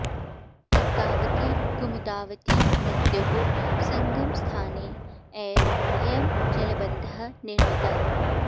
अर्कावती कुमुदावती नद्योः सङ्गमस्थाने एव अयं जलबन्धः निर्मितः